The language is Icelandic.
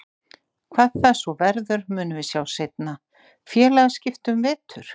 Hvað það svo verður, munum við sjá seinna. Félagsskipti um vetur?